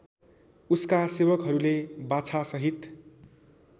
उसका सेवकहरूले बाछासहित